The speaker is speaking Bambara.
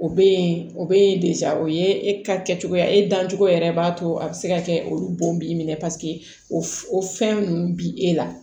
O be yen o be de o ye e ka kɛcogoya e dancogo yɛrɛ b'a to a be se ka kɛ olu bo b'i minɛ paseke o f o fɛn nunnu bi e la